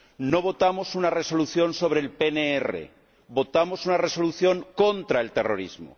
No votamos una Resolución sobre el PNR, votamos una Resolución contra el terrorismo.